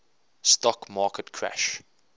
stock market crash